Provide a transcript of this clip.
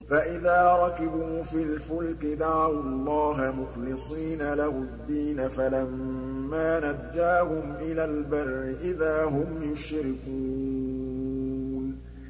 فَإِذَا رَكِبُوا فِي الْفُلْكِ دَعَوُا اللَّهَ مُخْلِصِينَ لَهُ الدِّينَ فَلَمَّا نَجَّاهُمْ إِلَى الْبَرِّ إِذَا هُمْ يُشْرِكُونَ